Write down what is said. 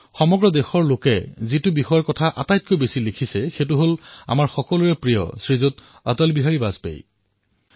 দেশৰ অধিকাংশ লোকেই এটা বিষয়ত লিখিছে আমাৰ সকলোৰে প্ৰিয় অটল বিহাৰী বাজপেয়ী